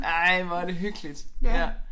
Ej hvor er det hyggeligt ja